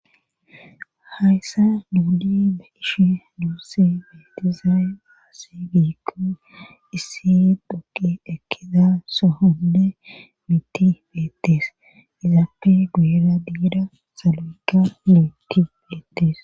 Hayssa duudi ba ishi duusse beetizay aasi giikko issi dhoqi ekkiza sohonde miti beettees izaappe guira diida salo'ekka leetti beettees.